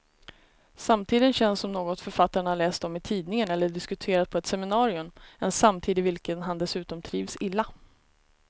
Samtiden känns som något författaren har läst om i tidningen eller diskuterat på ett seminarium, en samtid i vilken han dessutom trivs illa.